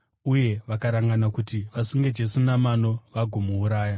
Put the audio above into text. uye vakarangana kuti vasunge Jesu namano vagomuuraya.